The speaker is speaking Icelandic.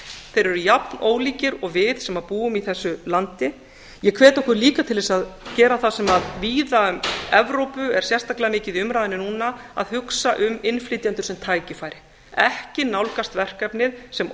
eru jafnólíkir og við sem búum í þessu landi ég hvet okkur líka til að gera það sem víða í evrópu er sérstaklega mikið í umræðunni núna að hugsa um innflytjendur sem tækifæri ekki nálgast verkefnið sem